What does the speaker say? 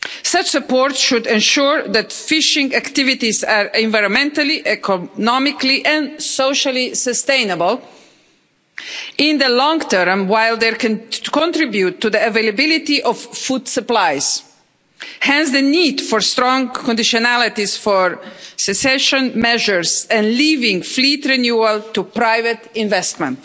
Such support should ensure that fishing activities are environmentally, economically and socially sustainable in the long term while they can contribute to the availability of food supplies. Hence the need for strong conditionalities for secession measures and leaving fleet renewal to private investment.